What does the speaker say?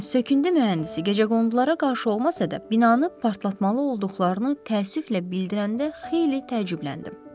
Lakin söküntü mühəndisi gecəqondulara qarşı olmasa da binanı partlatmalı olduqlarını təəssüflə bildirəndə xeyli təəccübləndim.